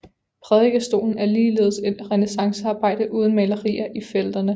Prædikestolen er ligeledes et renæssancearbejde uden malerier i felterne